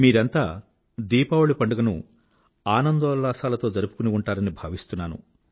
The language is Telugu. మీరంతా దీపావళి పండుగను ఆనందోల్లాసాలతో జరుపుకుని ఉంటారని భావిస్తున్నాను